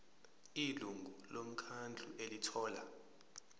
ilungu lomkhandlu elithola